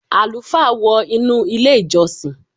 Àlùfáà wọ inú ilé- ìjọsìn.